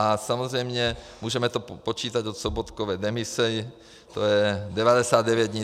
A samozřejmě, můžeme to počítat od Sobotkovy demise, to je 99 dní.